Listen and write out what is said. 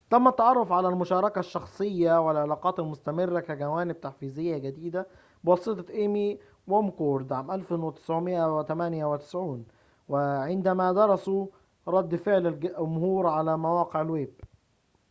تم التعرف على المشاركة الشخصية و العلاقات المستمرة كجوانب تحفيزية جديدة بواسطة إيمي ومكورد 1998 عندما درسوا رد فعل الجمهور على مواقع الويب